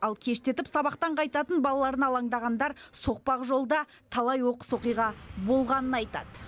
ал кештетіп сабақтан қайтатын балаларына алаңдағандар соқпақ жолда талай оқыс оқиға болғанын айтады